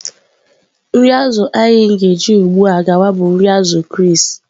Nri azụ̀ anyị ga-eji ugbu a gawa bụ nri azù Chris